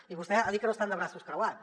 i vostè ha dit que no estan de braços creuats